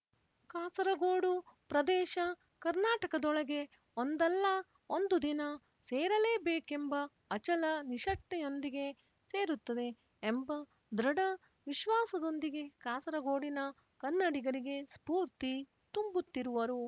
ಕಾಸರಗೋಡು ಪ್ರದೇಶ ಕರ್ನಾಟಕದೊಳಗೆ ಒಂದಲ್ಲ ಒಂದು ದಿನ ಸೇರಲೇಬೇಕೆಂಬ ಅಚಲ ನಿಶಟ್ಟೆಯೊಂದಿಗೆ ಸೇರುತ್ತದೆ ಎಂಬ ದೃಢ ವಿಶ್ವಾಸದೊಂದಿಗೆ ಕಾಸರಗೋಡಿನ ಕನ್ನಡಿಗರಿಗೆ ಸ್ಫೂರ್ತಿ ತುಂಬುತ್ತಿರುವರು